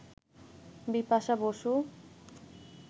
Bipasha Basu